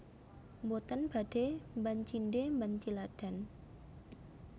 Mboten badhe mban cindhe mban ciladan